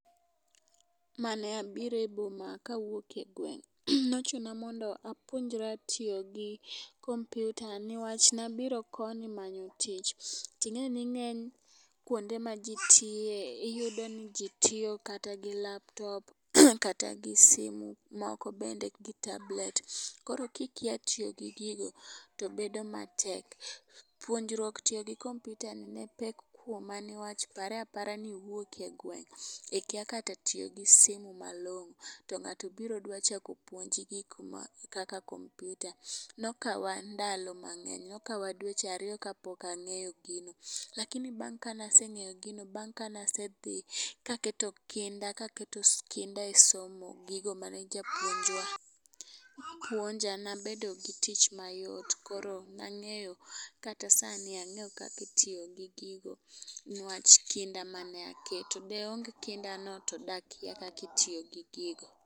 Mane abiro e boma kawuok e ngweng', nochuna mondo apuonjra tiyo gi computer ni wach nabiro koni manyo tich, ting'eni ng'eny kuonde maji tiye iyudo ni ji tiyo kata gi laptop, kata gi sime, moko bende gi tablet, koro kikia tiyo gi gigo to bedo matek. Puonjruok tiyo gi computer ne pek kuoma ni wach pare apara niwuok e gweng' ikia kata tiyo gi simu malong'o to ng'ato biro dwa chako puonji gik ma kaka computer , nokawa ndalo mang'ey, nokawa dweche ariyo kapok ang'eyo gino, lakini kabang' kane aseng'eyo gino, bang' kane asedhi kaketo kinda kaketo kinda e somo gigo mane japuonjwa puonja nabedo gi tich mayot, koro nang'eyo kata sani ang'eyo kaka itiyo gi gigo ni wach kinda mane aketo, de onge kindano de akia kaka itiyo gi gigo.